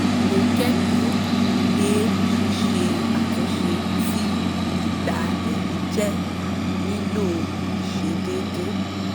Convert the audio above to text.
mo kẹ́kọ̀ọ́ pé ṣíse àtúnṣe sí ìgbà ẹ̀rí jẹ́ nílò ìṣedédé